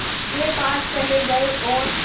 के पास चले गए और